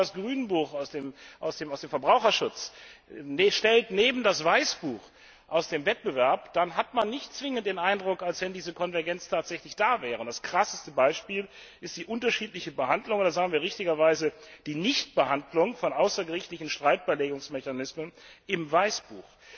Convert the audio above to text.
Wenn man aber das Grünbuch aus dem Bereich Verbraucherschutz neben das Weißbuch aus dem Bereich Wettbewerb stellt, dann hat man nicht zwingend den Eindruck, dass diese Konvergenz tatsächlich gegeben wäre. Das krasseste Beispiel ist die unterschiedliche Behandlung oder sagen wir richtigerweise die Nichtbehandlung von außergerichtlichen Streitbeilegungsmechanismen im Weißbuch.